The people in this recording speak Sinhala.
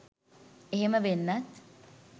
එහෙම වෙන්නත්